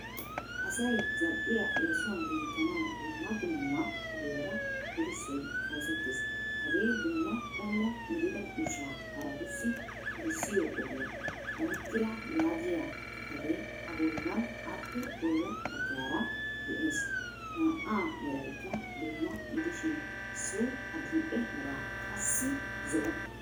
Asay zal"iyaa eesuwan denttanawu dumma dumma ogiyaara erissoy oosetees. Hagee Dumma qommo gidida ushsha harattussi erssiyo ogiya. Dankkira yaagiyaa xifate a bollanine appe bolla baggara de"ees. Naa"a meeraykka dumma gidishin issoy adil"ee meeraa, qassi zo"o.